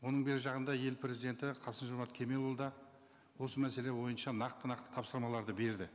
оның бер жағында ел президенті қасым жомарт кемелұлы да осы мәселе бойынша нақты нақты тапсырмаларды берді